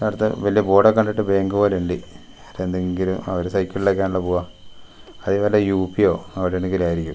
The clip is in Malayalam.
അവിടത്തെ വെല്ല്യ ബോഡൊഒക്കെ കണ്ടിട്ട് ബേങ്ക് പോലെയ്ണ്ട് എന്തെങ്കിലും അവര് സൈക്കിളിൽ ഒക്കെ ആണല്ലോ പോവ അത് വല്ല യു_പിയോ അവിടെവിടെങ്കിലും ആയിരിക്കും.